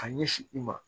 Ka ɲɛsin i ma